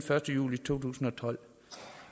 første juli to tusind og tolv